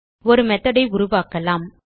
ஒரு மெத்தோட் ஐ உருவாக்கலாம்